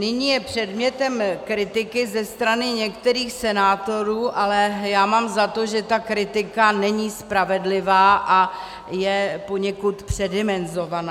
Nyní je předmětem kritiky ze strany některých senátorů, ale já mám za to, že ta kritika není spravedlivá a je poněkud předimenzovaná.